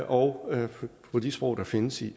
og de sprog der findes i